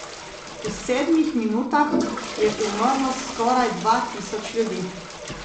V sedmih minutah je umrlo skoraj dva tisoč ljudi.